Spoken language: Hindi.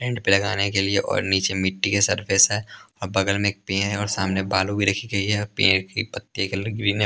एंड पे लगाने के लिए और नीचे मिट्टी के सरफेस है और बगल में एक पेड़ है और सामने बालू भी रखी गई है और पेड़ की पत्ती का कलर ग्रीन है।